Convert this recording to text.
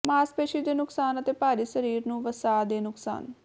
ਮਾਸਪੇਸ਼ੀ ਦੇ ਨੁਕਸਾਨ ਅਤੇ ਭਾਰੀ ਸਰੀਰ ਨੂੰ ਵਸਾ ਦੇ ਨੁਕਸਾਨ